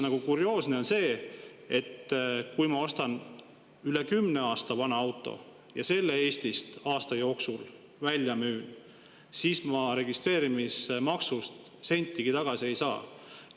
Aga kurioosne on see, et kui ma ostan üle kümne aasta vanuse auto ja selle Eestist aasta jooksul välja müün, siis ma registreerimismaksust sentigi tagasi ei saa.